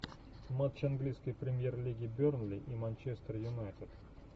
матч английской премьер лиги бернли и манчестер юнайтед